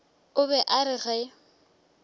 o be a re ge